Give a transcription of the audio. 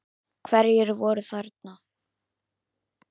Hverjir voru þarna?